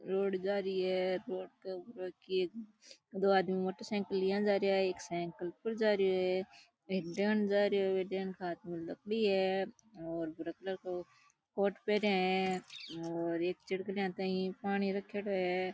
Road जा री है रोड के ऊपर की दो आदमी मोटरसायकल लिया जा रेहा है एक सायकल पर जा रियो है एक जेन्स जा रिया है जेन्स के हाथ में लकड़ी है और भूरा कलर को कोट पहरिया है और एक चिड़कलीया ताहि पानी रखेड़ो है।